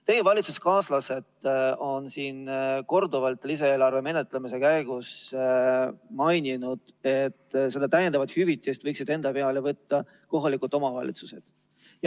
Teie valitsuskaaslased on lisaeelarve menetlemise käigus korduvalt maininud, et lisahüvitise maksmise võiksid enda peale võtta kohalikud omavalitsused.